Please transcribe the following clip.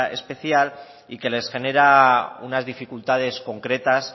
especial y que les genera unas dificultades concretas